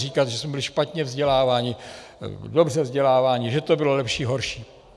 Říkat, že jsme byli špatně vzděláváni, dobře vzděláváni, že to bylo lepší, horší...